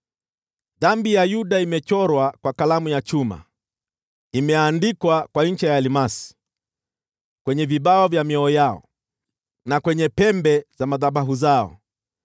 “Dhambi ya Yuda imechorwa kwa kalamu ya chuma, imeandikwa kwa ncha ya almasi, kwenye vibao vya mioyo yao na kwenye pembe za madhabahu zao.